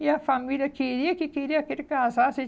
E a família queria que queria que ele casasse.